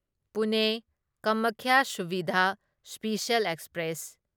Pune Kamakhya Suvidha special express